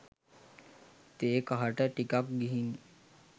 තේ කහට ටිකක් ගිහිං